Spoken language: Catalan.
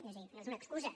és a dir no és una excusa